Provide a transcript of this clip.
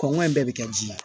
Kɔngɔ in bɛɛ bɛ kɛ ji la